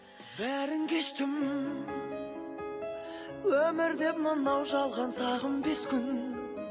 бәрін кештім өмірде мынау жалған сағым бес күн